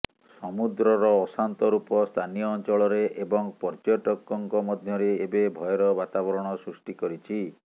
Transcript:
ସମୁଦ୍ରର ଅଶାନ୍ତ ରୂପ ସ୍ଥାନୀୟ ଅଂଚଳରେ ଏବଂ ପର୍ଯ୍ୟଟକଙ୍କ ମଧ୍ୟରେ ଏବେ ଭୟର ବାତାବରଣ ସୃଷ୍ଟି କରିଛି